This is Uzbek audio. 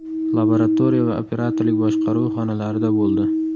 Laboratoriya va operatorlik boshqaruvi xonalarida bo‘ldi.